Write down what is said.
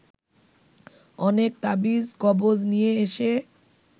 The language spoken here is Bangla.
অনেক তাবিজ কবজ নিয়ে এসে